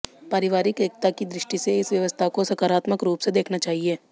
पारिवारिक एकता की दृष्टि से इस व्यवस्था को सकारात्मक रूप से देखना चाहिए